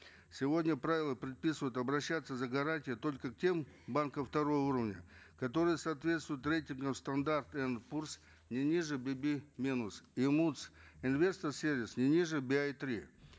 сегодня правила предписывают обращаться за гарантией только к тем банкам второго уровня которые соответствуют рейтингам стандарт не ниже би би минус и мудс инвестор сервис не ниже би ай три